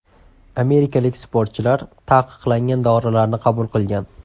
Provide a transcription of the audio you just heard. Amerikalik sportchilar taqiqlangan dorilarni qabul qilgan.